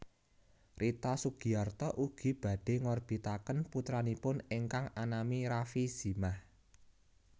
Rita Sugiarto ugi badhé ngorbitaken putranipun ingkang anami Rafie Zimah